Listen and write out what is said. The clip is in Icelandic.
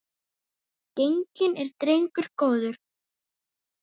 Genginn er drengur góður.